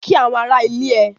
Kí àwọn ará ilé ẹ!